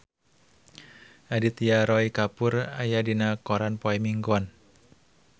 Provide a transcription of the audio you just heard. Aditya Roy Kapoor aya dina koran poe Minggon